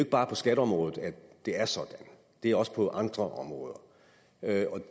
bare på skatteområdet at det er sådan det er også på andre områder